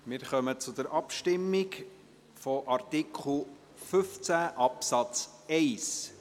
Wir kommen zur Abstimmung zu Artikel 15 Absatz 1.